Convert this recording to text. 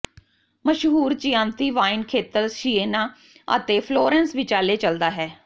ਮਸ਼ਹੂਰ Chianti wine ਖੇਤਰ Siena ਅਤੇ ਫਲੋਰੈਂਸ ਵਿਚਾਲੇ ਚਲਦਾ ਹੈ